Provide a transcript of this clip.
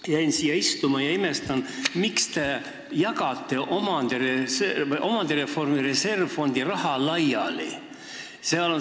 Istun siin, kuulan teid ja imestan, miks te jagate omandireformi reservfondi raha laiali.